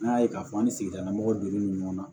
N'a ye k'a fɔ an ni sigidala mɔgɔw donnen don ɲɔgɔn na